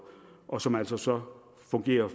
og som altså så fungerer